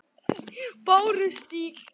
Bárustíg